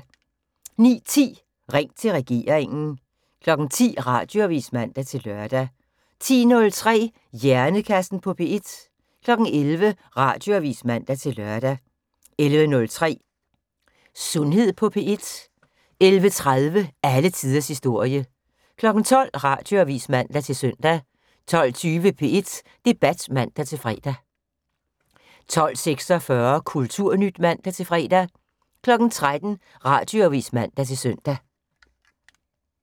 09:10: Ring til regeringen 10:00: Radioavis (man-lør) 10:03: Hjernekassen på P1 11:00: Radioavis (man-lør) 11:03: Sundhed på P1 11:30: Alle tiders historie 12:00: Radioavis (man-søn) 12:20: P1 Debat (man-fre) 12:46: Kulturnyt (man-fre) 13:00: Radioavis (man-søn)